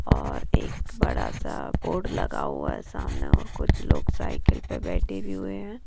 और एक बड़ा सा बोर्ड लगा हुआ है सामने और कुछ लोग साइकिल पे बैठे भी हुए है।